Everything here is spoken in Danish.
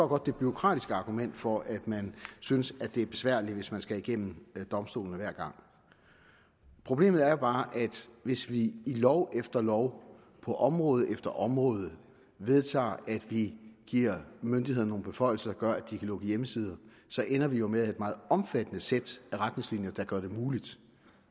godt det bureaukratiske argument for at man synes det er besværligt hvis man skal igennem domstolene hver gang problemet er jo bare at hvis vi i lov efter lov på område efter område vedtager at vi giver myndighederne nogle beføjelser der gør at de kan lukke hjemmesider ender vi jo med at have et meget omfattende sæt af retningslinjer der gør det muligt